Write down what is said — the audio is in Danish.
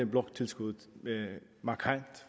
bloktilskuddet markant